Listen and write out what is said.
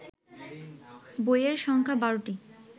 বইয়ের সংখ্যা ১২টি